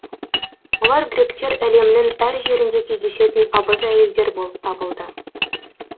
олар гректер әлемінің әр жерінде кездесетін абыз әйелдер болып табылды